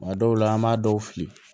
A dɔw la an b'a dɔw fili